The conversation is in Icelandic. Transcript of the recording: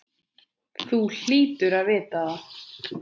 Þú hlýtur að vita það.